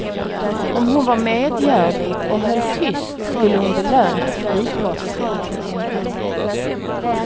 Om hon var medgörlig och höll tyst skulle hon belönas frikostigt.